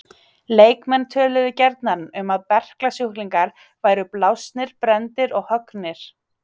Leikmenn töluðu gjarnan um að berklasjúklingar væru blásnir, brenndir og höggnir.